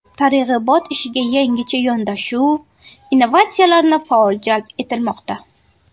Targ‘ibot ishiga yangicha yondashuv, innovatsiyalarni faol jalb etilmoqda.